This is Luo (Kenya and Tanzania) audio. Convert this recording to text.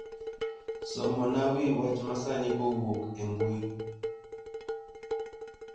somona wi wach masani kowuok e mbui